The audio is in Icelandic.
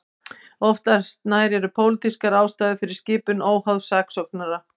Oftast nær eru pólitískar ástæður fyrir skipun óháðs saksóknara.